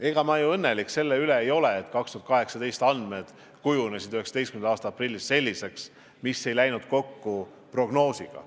Ega ma ju õnnelik selle üle ei ole, et 2018. aasta andmed kujunesid 2019. aasta aprillis selliseks, mis prognoosiga kokku ei läinud.